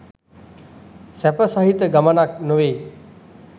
සැප සහිත ගමනක් නොවෙයි